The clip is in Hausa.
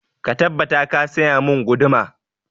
Ka tabbata ka saya mun guduma!